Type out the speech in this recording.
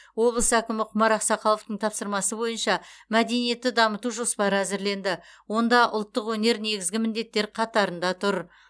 облыс әкімі құмар ақсақаловтың тапсырмасы бойынша мәдениетті дамыту жоспары әзірленді онда ұлттық өнер негізгі міндеттер қатарында тұр